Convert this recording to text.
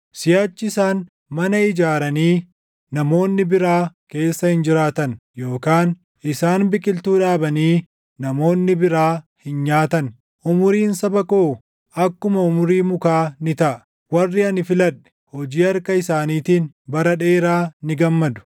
Siʼachi isaan mana ijaaranii namoonni biraa keessa hin jiraatan; yookaan isaan biqiltuu dhaabanii namoonni biraa hin nyaatan. Umuriin saba koo, akkuma umurii mukaa ni taʼa; warri ani filadhe, hojii harka isaaniitiin bara dheeraa ni gammadu.